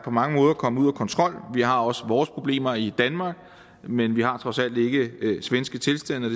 på mange måder er kommet ud af kontrol vi har også vores problemer i danmark men vi har trods alt ikke svenske tilstande